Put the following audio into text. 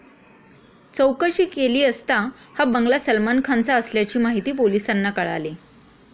चौकशी केली असता हा बंगला सलमान खानचा असल्याची माहिती पोलिसांना कळाली.